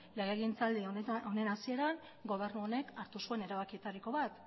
legegintzaldi honen hasieran gobernu honek hartu zuen erabakietariko bat